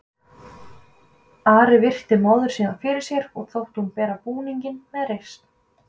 Ari virti móður sína fyrir sér og þótti hún bera búninginn með reisn.